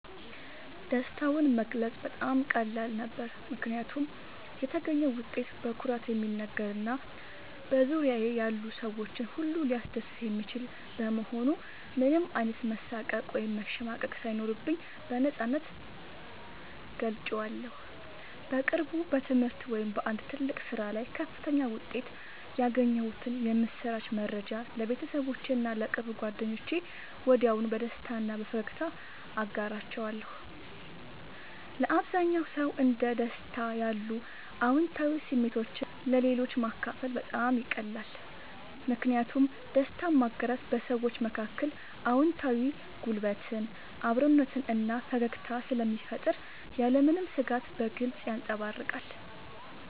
ደስታውን መግለጽ በጣም ቀላል ነበር፦ ምክንያቱም የተገኘው ውጤት በኩራት የሚነገር እና በዙሪያዬ ያሉ ሰዎችን ሁሉ ሊያስደስት የሚችል በመሆኑ ምንም አይነት መሳቀቅ ወይም መሸማቀቅ ሳይኖርብኝ በነፃነት ገልጬዋለሁ። በቅርቡ በትምህርት ወይም በአንድ ትልቅ ስራ ላይ ከፍተኛ ውጤት ያገኘሁበትን የምስራች መረጃ ለቤተሰቦቼ እና ለቅርብ ጓደኞቼ ወዲያውኑ በደስታ እና በፈገግታ አጋርቻለሁ። ለአብዛኛው ሰው እንደ ደስታ ያሉ አዎንታዊ ስሜቶችን ለሌሎች ማካፈል በጣም ይቀላል። ምክንያቱም ደስታን ማጋራት በሰዎች መካከል አዎንታዊ ጉልበትን፣ አብሮነትን እና ፈገግታን ስለሚፈጥር ያለምንም ስጋት በግልጽ ይንጸባረቃል።